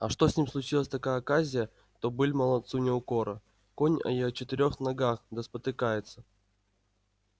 а что с ним случилась такая оказия то быль молодцу не укора конь и о четырёх ногах да спотыкается